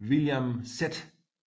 William Z